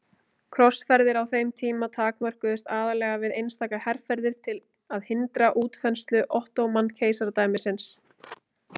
Krossferðir á þeim tíma takmörkuðust aðallega við einstaka herferðir til að hindra útþenslu Ottóman-keisaradæmisins.